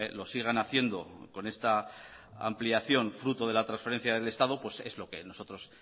lo sigan haciendo con esta ampliación fruto de la transferencia del estado es lo que nosotros